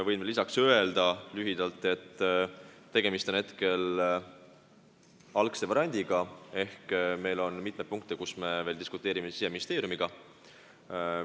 Võin lisaks lühidalt öelda, et tegemist on algvariandiga, mitme punkti üle me veel diskuteerime Siseministeeriumiga.